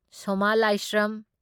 ꯁꯣꯃꯥ ꯂꯥꯢꯁ꯭ꯔꯝ